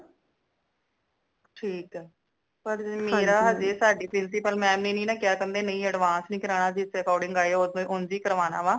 ਠੀਕ ਹੈ ਪਰ ਮੇਰਾ ਹਜੇ ਸਾੜੀ principal mam ਨੇ ਨਈ ਨੀ ਕਿਆ ਕਹਿੰਦੇ ਨਈ advance ਨਈ ਕਰਾਨਾ ਜਿਸ according ਆਯਾ ਉਂਝ ਹੀ ਕਰਵਾਣਾ ਵਾ